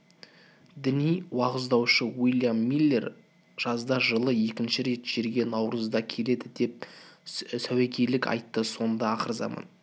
діни уағыздаушы уильям миллер жазда жылы екінші рет жерге наурызда келеді деп сәуегейлік айтты сонда ақырзаман